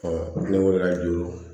ne wulila juru